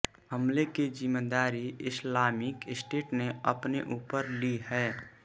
हमले की जिम्मेदारी इस्लामिक स्टेट ने अपने ऊपर ली है